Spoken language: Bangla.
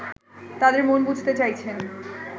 তাদের মন বুঝতে চাইছেন